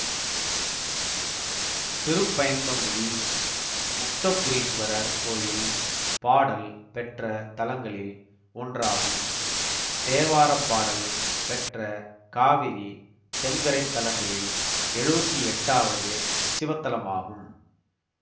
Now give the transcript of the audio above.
திருப்பயந்தங்குடி முக்தபுரீசுவரர் கோயில் பாடல் பெற்ற தலங்களில் ஒன்றாகும்தேவாரப்பாடல் பெற்ற காவிரி தென்கரை தலங்களில் எழுவத்தி எட்டாவது சிவத்தலமாகும்